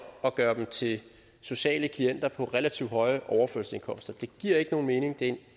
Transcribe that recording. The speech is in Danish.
og gøre dem til sociale klienter på relativt høje overførselsindkomster det giver ikke nogen mening det er en